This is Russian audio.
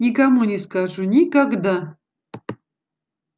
никому не скажу никогда